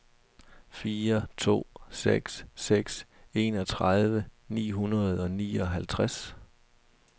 fire to seks seks enogtredive ni hundrede og nioghalvtreds